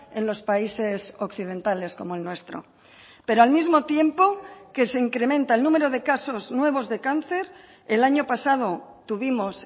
en los países occidentales como el nuestro pero al mismo tiempo que se incrementa el número de casos nuevos de cáncer el año pasado tuvimos